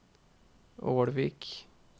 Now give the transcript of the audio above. Ålvik